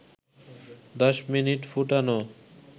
১০ minute ফুটান